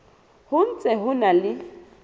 ho ntse ho na le